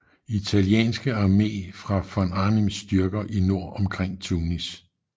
Italienske Armé fra von Arnims styrker i nord omkring Tunis